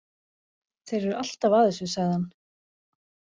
Þeir eru alltaf að þessu, sagði hann.